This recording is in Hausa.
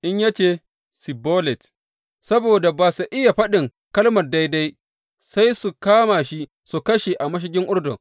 In ya ce, Sibbolet, saboda ba sa iya faɗin kalmar daidai, sai su kama shi su kashe a mashigan Urdun.